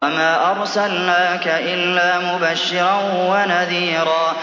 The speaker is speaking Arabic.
وَمَا أَرْسَلْنَاكَ إِلَّا مُبَشِّرًا وَنَذِيرًا